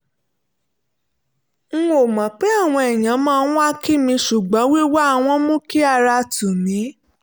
n ò mọ̀ pé àwọn èèyàn máa wá kí mi ṣùgbọ́n wíwá wọn mú kí ara tù mí